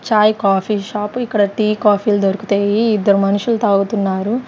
చాయ్ coffee shop ఇక్కడ tea కాఫీలు దొరుకుతాయి ఇద్దరు మనుషులు తాగుతున్నారు.